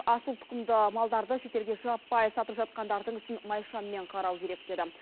асыл тұқымды малдарды шетелге жаппай сатып жатқандардың ісін майшаммен қарау керек деді